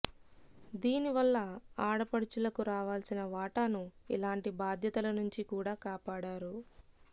దీని వల్ల ఆడపడుచులకు రావాల్సిన వాటాను ఇలాంటి బాధ్యతల నుంచి కూడా కాపాడారు